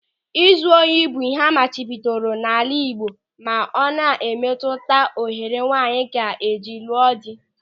Ịzụ ohi bụ ịhe amachibidoro n'ala Igbo ma ọ na-emetuta ohere nwaanyị ga-eji lụọ dị.